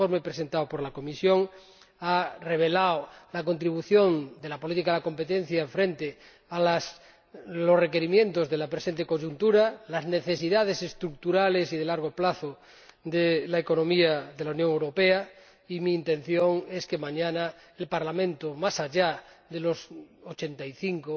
El informe presentado por la Comisión ha revelado la contribución de la política de competencia frente a los requerimientos de la presente coyuntura y las necesidades estructurales y de largo plazo de la economía de la Unión Europea, y mi intención es que mañana el Parlamento, más allá de los 85